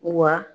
Wa